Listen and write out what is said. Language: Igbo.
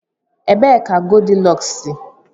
Ebee ka Goldilọks si?